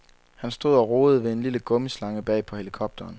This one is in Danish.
Han stod og rodede ved en lille gummislange bag på helikopteren.